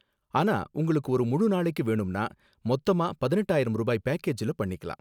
ஆனா உங்களுக்கு ஒரு முழு நாளைக்கும் வேணும்னா, மொத்தமா பதினெட்டாயிரம் ரூபாய் பேக்கேஜ்ல பண்ணிக்கலாம்.